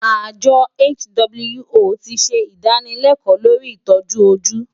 Àjọ WHO ti ṣe ìdánilẹ́kọ̀ọ́ lórí ìtọ́jú ojú.